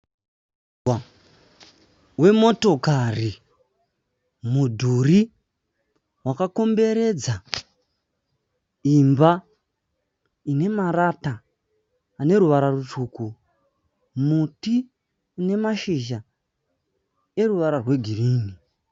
Mugwagwa wemotokari. Mudhuri wakakomberedza imba inemarata aneruvara rutsvuku. Muti unemashizha eruvara rwegirini.